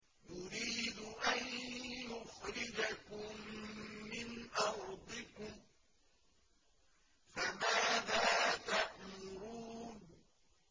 يُرِيدُ أَن يُخْرِجَكُم مِّنْ أَرْضِكُمْ ۖ فَمَاذَا تَأْمُرُونَ